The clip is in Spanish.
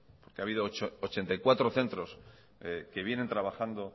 que ha habido ochenta y cuatro centros que vienen trabajando